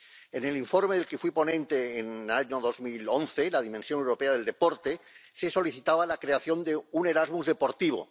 En el informe del que fui ponente en el año 2011, sobre la dimensión europea del deporte, se solicitaba la creación de un Erasmus deportivo.